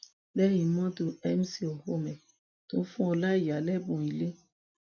lẹyìn mọtò mc olhomme tún fún ọláíyà lẹbùn ilé